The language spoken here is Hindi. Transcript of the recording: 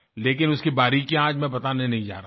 लेकिन उसकी बारीकियां आज मैं बताने नहीं जा रहा हूँ